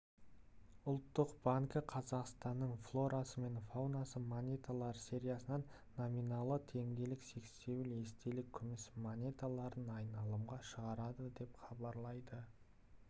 ұлттық банкі бүгін қазақстанның флорасы мен фаунасы монеталар сериясынан номиналы теңгелік сексеуіл естелік күміс монеталарын айналымға шығарады деп хабарлайды